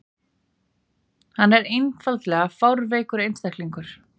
Hann er einfaldlega fárveikur einstaklingur.